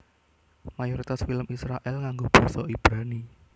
Mayoritas film Israèl nganggo basa Ibrani